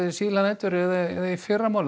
síðla nætur eða í fyrramálið